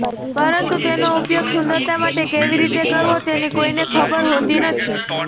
પરંતુ તેનો ઉપયોગ સુંદરતા માટે કેવી રીતે કરવો તેની કોઈને ખબર હોતી નથી